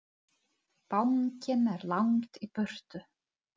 Bankinn er langt í burtu.